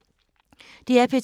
DR P2